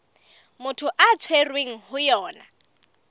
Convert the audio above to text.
motho a tshwerweng ho yona